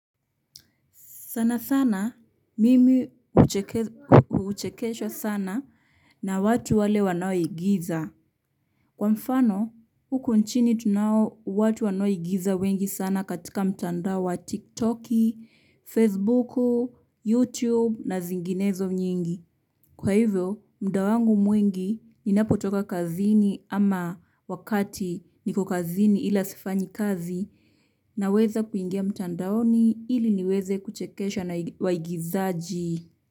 Sana sana, mimi huchekeshwa sana na watu wale wanaoigiza. Kwa mfano, huku nchini tunao watu wanaoigiza wengi sana katika mtandao wa TikTok, Facebook, YouTube na zinginezo nyingi. Kwa hivyo, muda wangu mwingi ninapotoka kazini ama wakati niko kazini ila sifanyi kazi naweza kuingia mtandaoni ili niweze kuchekesha na waigizaji.